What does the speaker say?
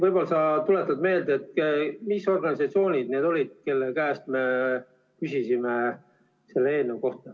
Võib-olla sa tuletad meelde, mis organisatsioonid need olid, kelle käest me küsisime selle eelnõu kohta.